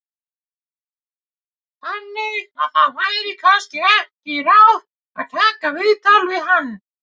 Þannig að það væri kannski ekki ráð að taka viðtal við hann?